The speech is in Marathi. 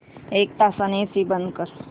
एक तासाने एसी बंद कर